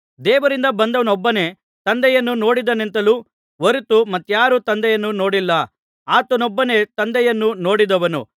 ದೇವರಿಂದ ಬಂದವನೊಬ್ಬನೇ ತಂದೆಯನ್ನು ನೋಡಿದ್ದಾನೆಯೇ ಹೊರತು ಮತ್ಯಾರು ತಂದೆಯನ್ನು ನೋಡಿಲ್ಲ ಆತನೊಬ್ಬನೇ ತಂದೆಯನ್ನು ನೋಡಿದವನು